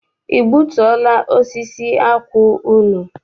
I gbutuo la osisi akwụ unu?